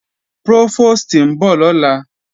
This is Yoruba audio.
Prófòstì ń bọ̀ lọ́la